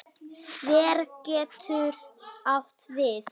Ver getur átt við